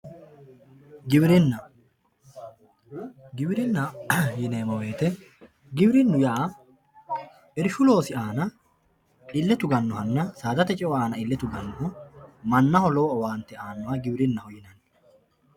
Giwirinna giwirinna yineemo woyite, giwirinu yaa irishu loosi aana ille tuganohanna saadate ce'o aana ille tuganoho, manaho lowo owaante aanoha giwirinaho yinanni